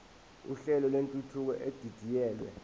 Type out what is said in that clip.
uhlelo lwentuthuko edidiyelwe